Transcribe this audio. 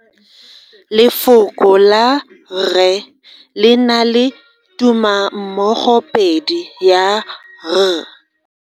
Lefoko la rre le na le tumammogopedi ya, r.